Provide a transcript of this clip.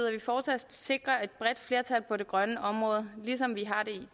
at vi fortsat sikrer et bredt flertal på det grønne område ligesom vi har det